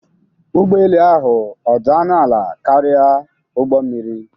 Ụgbọ elu ahụ ọ dị ọnụ ala karịa ụgbọ mmiri?